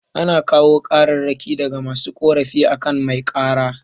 Ana kawo kararraki daga masu korafi akan mai kara